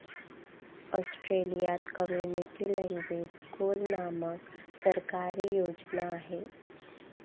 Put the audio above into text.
ऑस्ट्रेलियात community language schools नामक सरकारी योजना आहे.